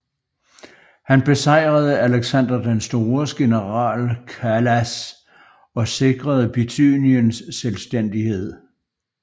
Han besejrede Alexander den Stores general Kalas og sikrede Bithyniens selvstændighed